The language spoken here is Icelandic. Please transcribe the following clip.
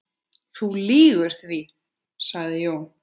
Þú lýgur því, sagði Jón.